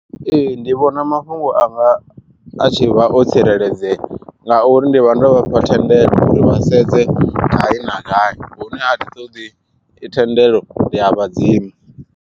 Ee ndi vhona mafhungo anga a tshi vha o tsireledzea ngauri ndi vha ndo vhafha thendelo uri vha sedze gai na gai hune a thi ṱoḓi i thendelo ndi a vhadzima.